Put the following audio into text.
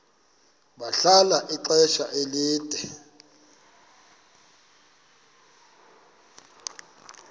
bahlala ixesha elide